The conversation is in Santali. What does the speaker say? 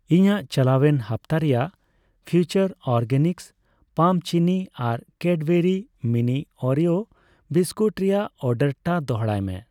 ᱤᱧᱟᱹᱜ ᱪᱟᱞᱟᱣᱮᱱ ᱦᱟᱯᱛᱟ ᱨᱮᱭᱟᱜ ᱯᱷᱤᱭᱩᱪᱟᱨ ᱚᱨᱜᱮᱱᱤᱠᱥ ᱯᱟᱢ ᱪᱤᱱᱤ ᱟᱨ ᱪᱮᱰᱵᱮᱨᱤ ᱢᱤᱱᱤ ᱳᱨᱮᱭᱳ ᱵᱤᱥᱠᱩᱴ ᱨᱮᱭᱟᱜ ᱚᱨᱰᱟᱨᱴᱟᱜ ᱫᱚᱲᱦᱟᱭ ᱢᱮ ᱾